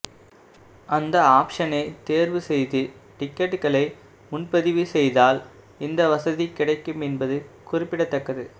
அந்த ஆப்ஷனை தேர்வு செய்து டிக்கெட்டுகளை முன்பதிவு செய்தால் இந்த வசதி கிடைக்கும் என்பது குறிப்பிடத்தக்கது